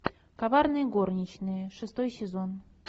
коварные горничные шестой сезон